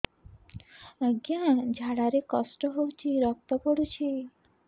ଅଜ୍ଞା ଝାଡା ରେ କଷ୍ଟ ହଉଚି ରକ୍ତ ପଡୁଛି